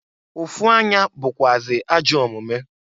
Ụfụ anya bukwụazị ajọ omumu.